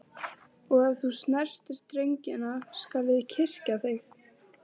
Og ef þú snertir drengina skal ég kyrkja þig.